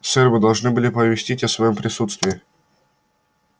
сэр вы должны были оповестить о своём присутствии